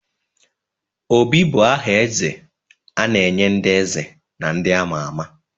Obi bụ aha eze a na-enye ndị eze na ndị ama ama.